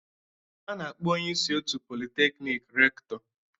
A na-akpọ onye isi otu Polytechnic Rector